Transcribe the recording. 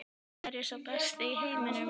Er ég sá besti í heiminum?